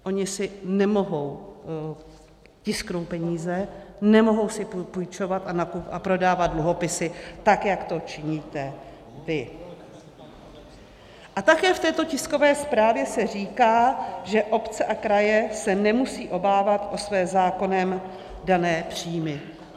Ony si nemohou tisknout peníze, nemohou si půjčovat a prodávat dluhopisy, tak jak to činíte vy. - A také v této tiskové zprávě se říká, že obce a kraje se nemusí obávat o své zákonem dané příjmy.